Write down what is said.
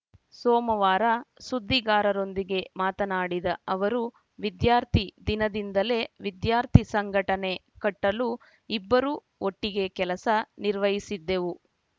ಸೋಮವಾರ ಸುದ್ದಿಗಾರರೊಂದಿಗೆ ಮಾತನಾಡಿದ ಅವರು ವಿದ್ಯಾರ್ಥಿ ದಿನದಿಂದಲೇ ವಿದ್ಯಾರ್ಥಿ ಸಂಘಟನೆ ಕಟ್ಟಲು ಇಬ್ಬರೂ ಒಟ್ಟಿಗೆ ಕೆಲಸ ನಿರ್ವಹಿಸಿದ್ದೆವು